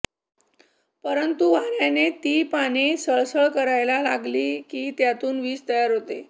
परंतु वार्याने ती पाने सळसळ कराययला लागली की त्यातून वीज तयार होते